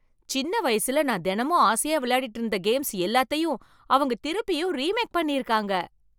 சின்ன வயசுல, நான் தினமும் ஆசையா விளையாடிட்டு இருந்த கேம்ஸ் எல்லாத்தையும் அவங்க திருப்பியும் ரீமேக் பண்ணி இருக்காங்க.